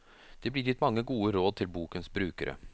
Det blir gitt mange gode råd til bokens brukere.